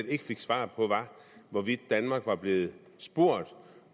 ikke fik svar på var hvorvidt danmark var blevet spurgt